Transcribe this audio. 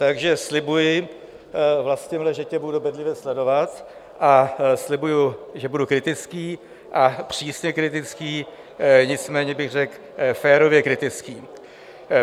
Takže slibuji, Vlastimile, že tě budu bedlivě sledovat, a slibuji, že budu kritický a přísně kritický, nicméně bych řekl férově kritický.